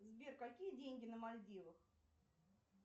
сбер какие деньги на мальдивах